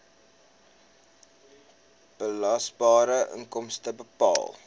belasbare inkomste bepaal